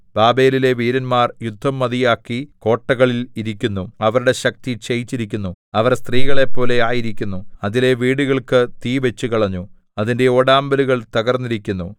ബാബേലിലെ വീരന്മാർ യുദ്ധം മതിയാക്കി കോട്ടകളിൽ ഇരിക്കുന്നു അവരുടെ ശക്തി ക്ഷയിച്ചിരിക്കുന്നു അവർ സ്ത്രീകളെപ്പോലെ ആയിരിക്കുന്നു അതിലെ വീടുകൾക്ക് തീ വച്ചുകളഞ്ഞു അതിന്റെ ഓടാമ്പലുകൾ തകർന്നിരിക്കുന്നു